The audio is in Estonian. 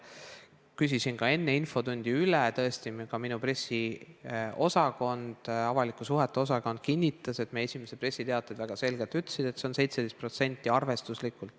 Küsisin enne infotundi üle, ja tõesti, ka minu pressiosakond ehk avalike suhete osakond kinnitas, et meie esimesed pressiteated ütlesid väga selgelt, et see on arvestuslikult 17%.